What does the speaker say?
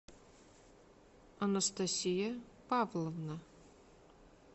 анастасия павловна